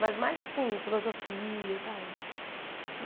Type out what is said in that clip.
Mas mais assim, filosofia, sabe?